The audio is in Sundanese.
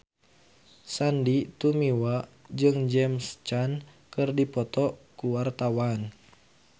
Sandy Tumiwa jeung James Caan keur dipoto ku wartawan